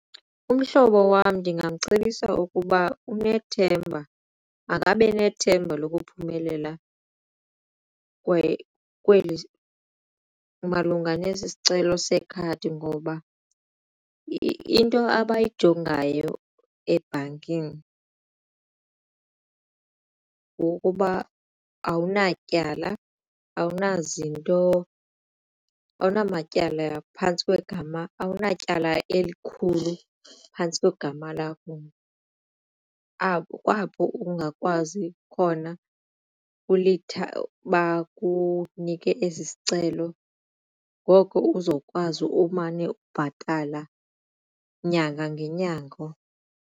Umhlobo wam ndingamcebisa ukuba unethemba makabe nethemba lokuphumelela kwaye malunga nesi sicelo sekhadi ngoba into abayijongayo ebhankini ngokuba awunatyala awunazinto awunamatyala phantsi kwegama awunatyala elikhulu phantsi kwegama lakho apho ungakwazi khona bakunike esi sicelo ngoko uzokwazi umane ubhatala nyanga ngenyanga.